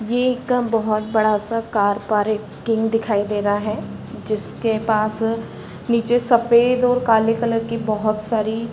ये एक कम बहोत बड़ा सा कार पार्किंग दिखाई दे रहा है। जिसके पास नीचे सफ़ेद और काले कलर की बहोत सारी --